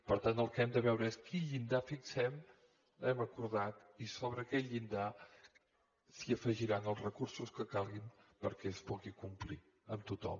per tant el que hem de veure és quin llindar fixem l’hem acordat i sobre aquell llindar s’afegiran els recursos que calguin perquè es puguin complir amb tothom